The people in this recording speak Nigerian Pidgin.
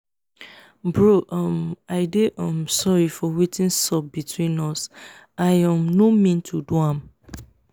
bro um i dey um sorry for wetin sup between us i um no mean to do am